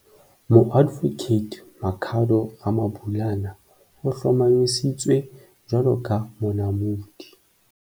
Moadvokate Makhado Ramabulana o hlomamisitswe jwalo ka Monamodi.